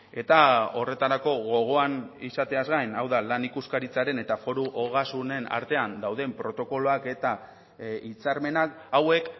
eta horretarako gogoan izateaz gain hau da lan ikuskaritzaren eta foru ogasunen artean dauden protokoloak eta hitzarmenak hauek